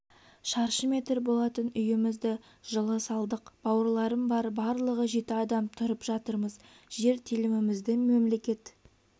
шаршы метр болатын үйімізді жылы салдық бауырларым бар барлығы жеті адам тұрып жатырмыз жер телімімізді мемлекет